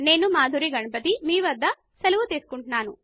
నేను మధురి గణపతి మీ వద్ద సెలవు తెసుకుంటున్న ను